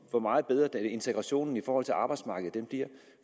hvor meget bedre integrationen i forhold til arbejdsmarkedet bliver